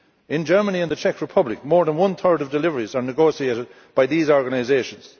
In Germany and the Czech Republic, more than one third of deliveries are negotiated by these organisations.